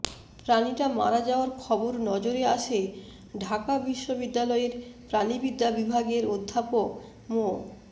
প্রাণীটা মারা যাওয়ার খবর নজরে আসে ঢাকা বিশ্ববিদ্যালয়ের প্রাণিবিদ্যা বিভাগের অধ্যাপক মো